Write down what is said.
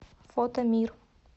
фотомир